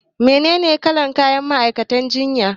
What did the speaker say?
Menene kalar kayan ma'aikatan jinya?